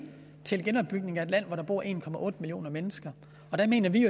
til genopbygning af et land hvor der bor en millioner mennesker og der mener vi